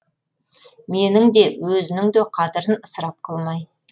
менің де өзінің де қадірін ысырап қылмай